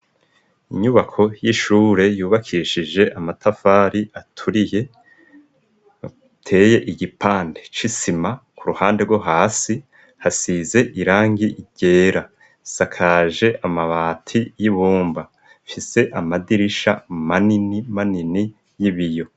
inyubako y'ishure yubakishije amatafari aturiye iteye igipande cisima ku ruhande rwo hasi hasize irangi ryera sakaje amabati y'ibumba ifise amadirisha manini manini y'ibiyo.